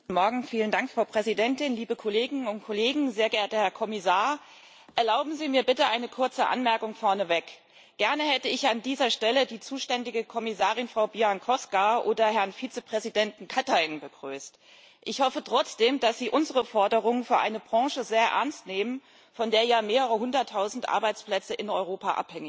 Frau Präsidentin, sehr geehrter Herr Kommissar, liebe Kolleginnen und Kollegen! Erlauben Sie mir bitte eine kurze Anmerkung vorneweg. Gerne hätte ich an dieser Stelle die zuständige Kommissarin Frau Bieńkowska oder Herrn Vizepräsidenten Katainen begrüßt. Ich hoffe trotzdem, dass sie unsere Forderung für eine Branche sehr ernst nehmen, von der ja mehrere Hunderttausend Arbeitsplätze in Europa abhängig sind.